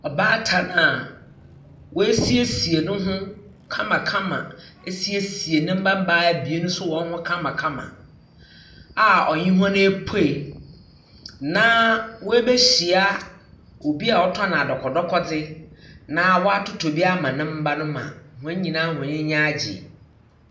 Ɔbaatan a ɔasiesie ne ho kamakama. Ɔasiesie ne mba mbaa abien nso ho kamakama a ɔnye hɔn apue. Na ɔabehyia obi a ɔtɔn adɔkɔkɔdɔkɔdze na ɔatotɔ bi ama ne mba no ma wɔn nyinaa wɔn anyi anyi aagye.